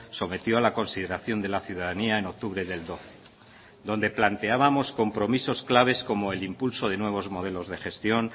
sometió a la consideración de la ciudadanía en octubre del doce donde planteábamos compromisos claves como el impulso de nuevos modelos de gestión